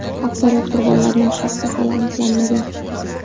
Aksariyat qurbonlarning shaxsi hali aniqlanmagan.